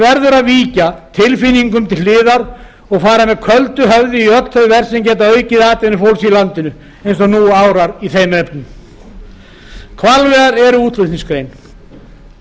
verður að víkja tilfinningum til hliðar og fara með köldu höfði í öll þau verk sem geta aukið atvinnu fólks í landinu eins og nú árar í þeim efnum hvalveiðar eru útflutningsgrein